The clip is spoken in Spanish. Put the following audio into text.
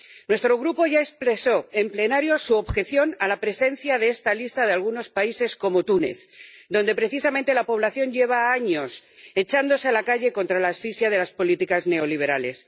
Nuestro Grupo ya expresó en el Pleno su objeción a la presencia en esta lista de algunos países como Túnez, donde precisamente la población lleva años echándose a la calle contra la asfixia de las políticas neoliberales.